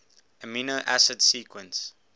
amino acid sequence